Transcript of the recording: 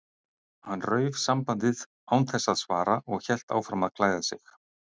Hann rauf sambandið án þess að svara og hélt áfram að klæða sig.